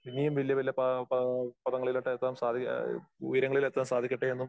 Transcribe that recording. ഇനിയും വല്യ വല്യ പാ പാ പദങ്ങളിലോട്ട് എത്താൻ സാധി ആ ഉയരങ്ങളിൽ എത്താൻ സാധിക്കട്ടെ എന്നും